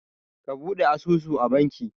Bude asusu a bankin